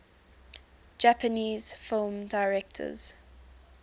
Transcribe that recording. japanese film directors